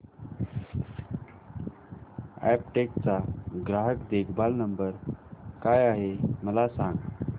Aptech चा ग्राहक देखभाल नंबर काय आहे मला सांग